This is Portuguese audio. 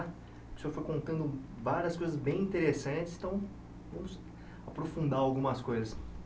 O senhor foi contando várias coisas bem interessantes, então vamos aprofundar algumas coisas.